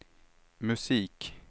musik